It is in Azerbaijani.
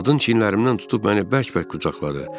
Qadın çiyinlərimdən tutub məni bərk-bərk qucaqladı.